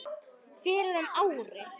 fyrir um ári.